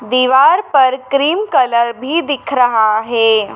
दीवार पर cream colour भी दिख रहा है।